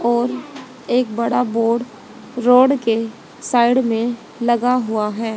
और एक बड़ा बोर्ड रोड के साइड में लगा हुआ है।